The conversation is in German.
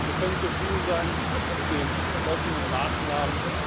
Wir können zufrieden sein mit den beschlossenen Maßnahmen.